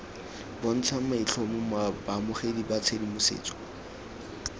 bontshang maitlhomo baamogedi ba tshedimosetso